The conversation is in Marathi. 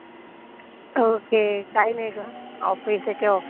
ओके. काही नाही गं. ऑफिस एके ऑफिस.